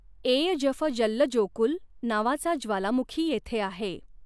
Eyjafjallajökull नावाचा ज्वालामुखी येथे आहे.